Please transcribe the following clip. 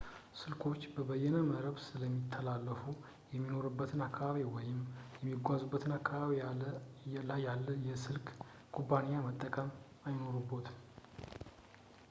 ስልኮች በበይነ መረብ ስለሚተላለፉ በሚኖሩበት አካባቢ ወይም በሚጓዙበት አካባቢ ላይ ያለ የስልክ ኩባንያን መጠቀም አይኖርቦትም